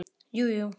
Jú jú.